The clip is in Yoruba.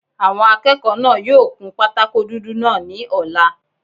Àwọn akẹ́kọ̀ọ́ náà yóò kun pátákó dúdú náà ní ọ̀la